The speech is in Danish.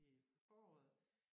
I foråret